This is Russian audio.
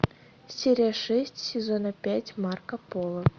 серия шесть сезона пять марко поло